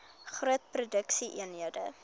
groot produksie eenhede